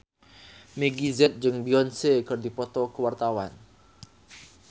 Meggie Z jeung Beyonce keur dipoto ku wartawan